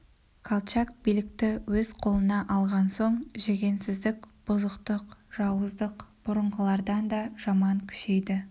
колчак билікті өз қолына алған соң жүгенсіздік бұзықтық жауыздық бұрынғылардан да жаман күшейді